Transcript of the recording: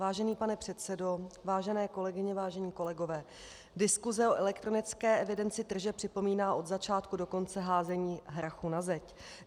Vážený pane předsedo, vážené kolegyně, vážení kolegové, diskuze o elektronické evidenci tržeb připomíná od začátku do konce házení hrachu na zeď.